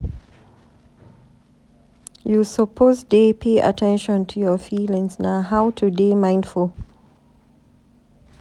You suppose dey pay at ten tion to your feelings na how to dey mindful.